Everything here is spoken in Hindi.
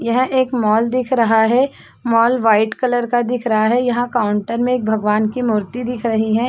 यह एक मॉल दिख रहा है मॉल व्हाइट कलर का दिख रहा है यहाँ काउंटर में एक भगवान की मूर्ति दिख रही है।